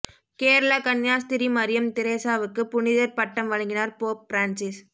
கேரளா கன்னியாஸ்திரி மரியம் திரேசாவுக்கு புனிதர் பட்டம் வழங்கினார் போப் பிரான்சிஸ்